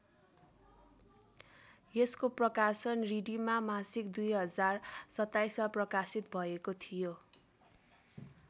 यसको प्रकाशन रिडीमा मासिक २०२७ मा प्रकाशित भएको थियो।